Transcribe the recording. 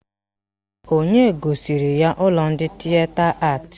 Onye gosiri ya ụlọ ndị Tịeta Atị?